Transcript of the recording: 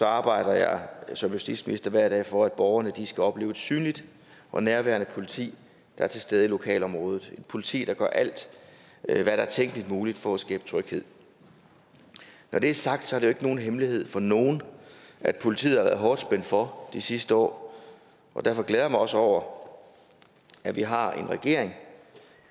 arbejder jeg som justitsminister hver dag for at borgerne skal opleve et synligt og nærværende politi der er til stede i lokalområdet et politi der gør alt hvad der er tænkeligt muligt for at skabe tryghed når det er sagt er det jo ikke nogen hemmelighed for nogen at politiet har været hårdt spændt for de sidste år og derfor glæder jeg mig også over at vi har en regering